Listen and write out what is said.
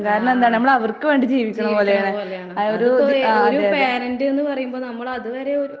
ആഹ് ജീവിക്കണ പോലെയാണ് ഒരു പാരന്റ്ന്ന് പറയുമ്പ നമ്മളത് വരെയൊരു